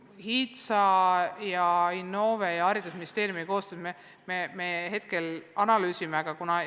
HITSA ja Innove ning Haridus- ja Teadusministeeriumi koostöös me hetkel analüüsime olukorda.